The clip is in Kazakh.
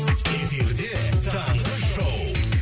эфирде таңғы шоу